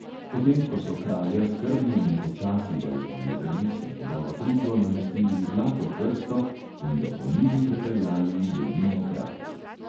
Potem ko so kralja skrbno in počasi balzamirali, so njegovo truplo namestili v zlato krsto in ga po nilu prepeljali v dolino kraljev.